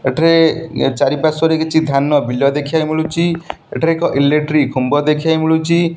ଏଠାରେ ଇଆ ଚାରିପାର୍ଶ୍ୱ ରେ କିଛି ଧାନ ବିଲ ଦେଖିବାକୁ ମିଳୁଛି ଏଠାରେ ଏକ ଇଲେକ୍ଟ୍ରି ଖୁମ୍ବ ଦେଖିବାକୁ ମିଳୁଛି।